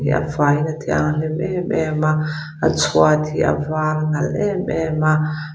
a fai in a thianghlim em em a a chhuat hi a var nalh em em a.